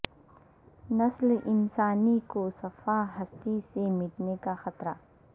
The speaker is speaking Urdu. نسل انسانی کو صفحہ ہستی سے مٹنے کا خطرہ